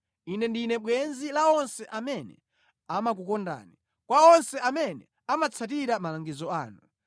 Ine ndine bwenzi la onse amene amakukondani, kwa onse amene amatsatira malangizo anu.